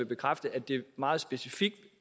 bekræfte at det meget specifikt